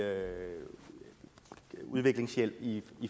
udviklingshjælp i